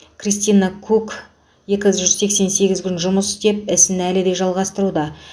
кристина кук екі жүз сексен сегіз күн жұмыс істеп ісін әлі де жалғастыруда